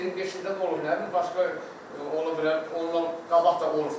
Yox, elə 25-i də olub, nə bilim başqa olub elə, ondan qabaq da olubdur.